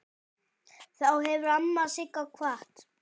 Þá hefur amma Sigga kvatt.